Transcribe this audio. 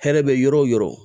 Hɛrɛ bɛ yɔrɔ o yɔrɔ